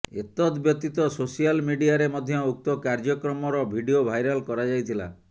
ଏତଦ ବ୍ୟତୀତ ସୋସିଆଲ୍ ମିଡିଆରେ ମଧ୍ୟ ଉକ୍ତ କାର୍ଯ୍ୟକ୍ରମର ଭିଡ଼ିଓ ଭାଇରାଲ କରାଯାଇଥିଲା